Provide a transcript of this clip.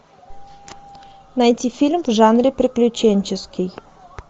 найти фильм в жанре приключенческий